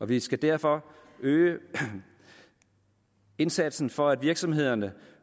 vi skal derfor øge indsatsen for at virksomhederne